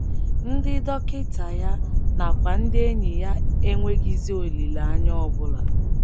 Ndị dọkịta ya nakwa ndị enyi ya enweghịzi olileanya ọ bụla.